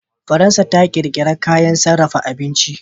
Faransa ta ƙirƙira kayan sarrafa abinci.